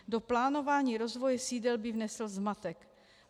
Do plánování rozvoje sídel by vnesl zmatek.